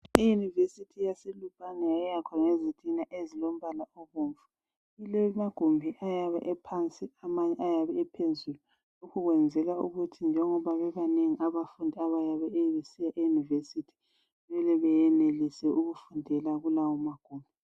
I"University" yaseLupane yayakhwa ngezitina ezilombala obomvu, ilamagumbi ayabe ephansi amanye ayabe ephezulu ukwenzela ukuthi njengoba bebanengi abafundi abayabe bese "University" mele beyenelise ukufundela kulawo magumbi.